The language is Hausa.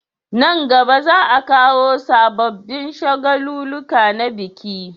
Nan gaba za a kawo sabobin shagaluluka na biki